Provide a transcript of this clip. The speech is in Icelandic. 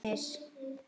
Sumir voru efins.